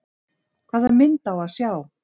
Hvaða mynd á að sjá?